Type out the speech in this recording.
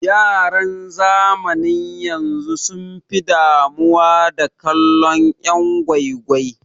Yaran zamanin yanzu sun fi damuwa da kallon yan' gwai gwai.